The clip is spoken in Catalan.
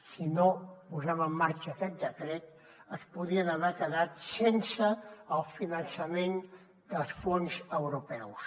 si no posem en marxa aquest decret es podien haver quedat sense el finançament dels fons europeus